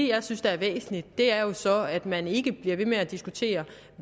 jeg synes er væsentligt er jo så at man ikke bliver ved med at diskutere